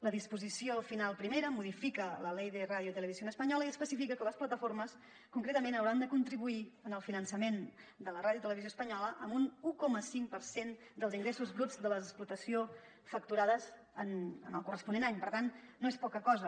la disposició final primera modifica la ley de radio y televisión española i especifica que les plataformes concretament hau·ran de contribuir en el finançament de la ràdio i televisió espanyola amb un un coma cinc per cent dels ingressos bruts de l’explotació facturats en el corresponent any per tant no és poca cosa